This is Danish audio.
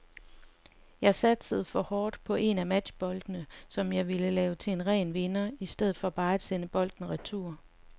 Jeg satsede for hårdt på en af matchboldene, som jeg ville lave til en ren vinder i stedet for bare at sende bolden retur.